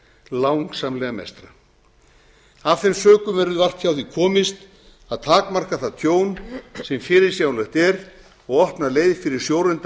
langsamlega mestra af þeim sökum verður vart hjá því komist að takmarka það tjón sem fyrirsjáanlegt er og opna leið fyrir sjóreynda